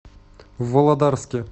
володарске